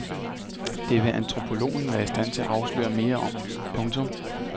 Det vil antropologen være i stand til at afsløre mere om. punktum